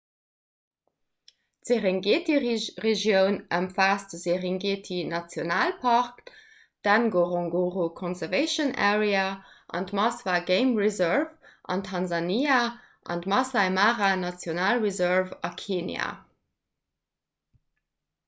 d'serengeti-regioun ëmfaasst de serengeti-nationalpark d'ngorongoro conservation area an d'maswa game reserve an tansania an d'maasai mara national reserve a kenia